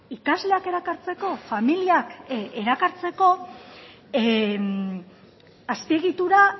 ikasleak erakartzeko familiak erakartzeko azpiegitura